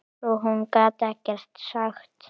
Svo hún gat ekkert sagt.